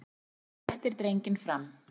Hann réttir drenginn fram.